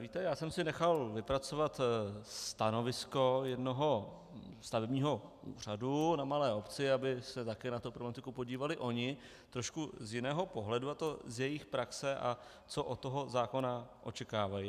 Víte, já jsem si nechal vypracovat stanovisko jednoho stavebního úřadu na malé obci, aby se taky na tu problematiku podívali oni trošku z jiného pohledu, a to z jejich praxe, a co od toho zákona očekávají.